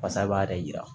Basa b'a yɛrɛ yira